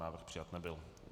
Návrh přijat nebyl.